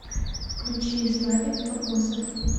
включи славик погосов